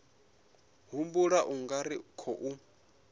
humbula u nga ri khou